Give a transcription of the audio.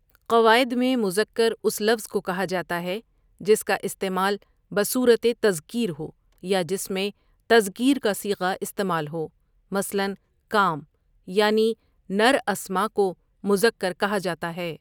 قواعد میں مُذکّر اُس لفظ کو کہاجاتا ہے جس کا استعمال بصورتِ تذکیر ہو یا جس میں تذکیر کا صیغہ استعمال ہو مثلاً کام یعنی نراسماء کو مذکر کہا جاتا ہے۔